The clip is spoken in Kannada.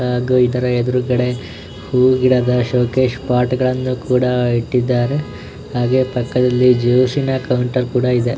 ಹಾಗು ಇದರ ಎದುರುಗಡೆ ಹೂ ಗಿಡದ ಷೋಕೇಸ್ ಪಾಟ್ ಗಳನ್ನೂ ಕೂಡ ಇಟ್ಟಿದ್ದಾರೆ ಹಾಗೆ ಪಕ್ಕದಲ್ಲಿ ಜ್ಯೂಸು ನ ಕೌಂಟರ್ ಕೂಡ ಇದೆ.